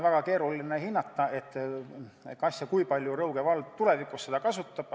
Väga keeruline on hinnata, kas ja kui palju Rõuge vald tulevikus seda kasutab.